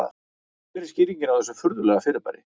Hver er skýringin á þessu furðulega fyrirbæri?